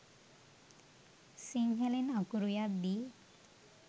සිංහලෙන් අකුරු යද්දි